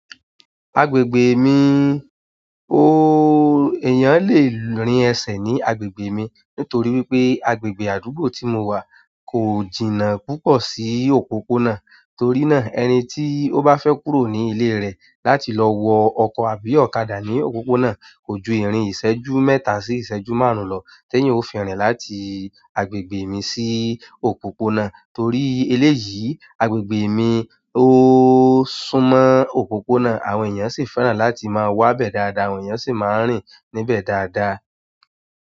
Agbègbè mi, ooo èèyàn lè rìn ẹsẹ̀ ní agbègbè mi nítorí wípé agbègbè àdúgbò tí mo wà kò jìnnà púpọ̀ sí òpópónà, torí náà, ẹni tí ó bá fẹ́ kúrò ní ilé rẹ̀ láti lọ wọ ọkọ̀ àbí ọ̀kadà ní òpópónà, kò ju ìrìn ìṣẹ́jú mẹ́ta sí ìṣẹ́jú márùn-ún lọ tí èèyàn ó fi rìn láti agbègbè mi sí òpópónà torí eléyìí, agbègbè mi o súnmọ́ òpópónà àwọn eeyan si fẹ́ràn láti maa wabe dáadáa àwọn eeyan si maa n rin níbẹ̀ dáadáa.